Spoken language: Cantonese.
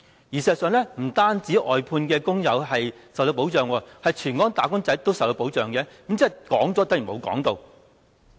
事實上，不單外判工友受到保障，全港"打工仔"都受到保障，即說了等於沒說。